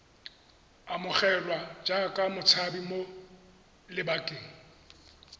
amogelwa jaaka motshabi mo lebakeng